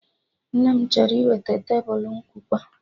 Nne m chọrọ iweta Tebulu nkụwa